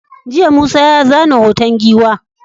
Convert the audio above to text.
jiya Musa ya zana hoton giwa